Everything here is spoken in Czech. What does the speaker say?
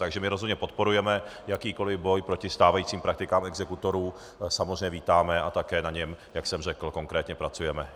Takže my rozhodně podporujeme, jakýkoliv boj proti stávajícím praktikám exekutorů samozřejmě vítáme a také na něm, jak jsem řekl, konkrétně pracujeme.